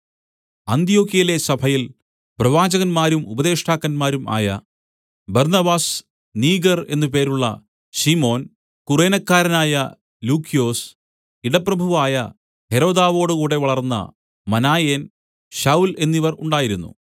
അന്ത്യൊക്യയിലെ സഭയിൽ പ്രവാചകന്മാരും ഉപദേഷ്ടാക്കന്മാരും ആയ ബർന്നബാസ് നീഗർ എന്നു പേരുള്ള ശിമോൻ കുറേനക്കാരനായ ലൂക്യൊസ് ഇടപ്രഭുവായ ഹെരോദാവോടുകൂടെ വളർന്ന മനായേൻ ശൌല്‍ എന്നിവർ ഉണ്ടായിരുന്നു